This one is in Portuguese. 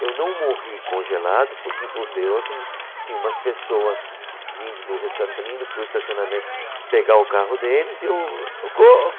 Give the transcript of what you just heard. Eu não morri congelado porque, por Deus, tinha umas pessoas vindo do restaurante, também indo para o estacionamento pegar o carro deles e eu... Socorro!